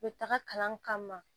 U bɛ taga kalan kama